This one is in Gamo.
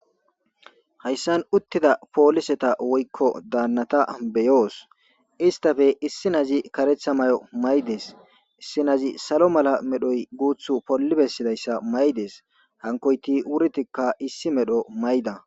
hayssan uttida pooliseta woykko daannata beyoos istafe issi nazi karetha may7o maydees issi nazi salo mala medhoy guuth pollibessidayssa maydees hankoyti wurtikka issi medho mayda